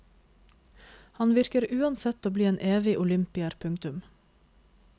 Han virker uansett å bli en evig olympier. punktum